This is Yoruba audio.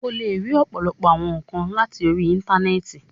O le ri ọpọlọpọ awọn nkan lati ori Intanẹẹti